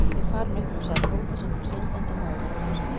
Ég er farinn upp úr sagði Tóti sem kom syndandi, móður og másandi.